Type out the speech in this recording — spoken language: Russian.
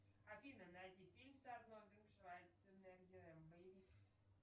афина найди фильм с арнольдом шварценеггером боевик